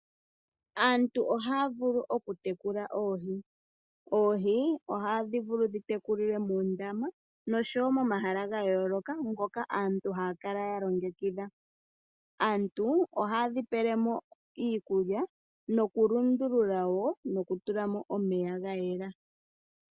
Aantu ohaa vulu okutekula oohi. Oohi ohadhi vulu okutekulilwa muundama osho wo momahala ga yooloka ngono aantu haa kala ya longekidha. Ohaye dhi pele mo iikulya osho wo okutula mo omeya ga yela.